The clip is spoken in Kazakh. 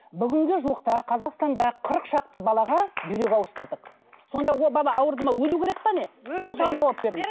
бүгінгі жуықта қазақстанда қырық шақты балаға бүйрек ауыстырдық сонда ол бала ауырды ма өлу керек пе не осыған жауап беріңіз